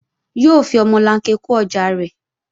Yóò fi omolanke kó ọjà rẹ̀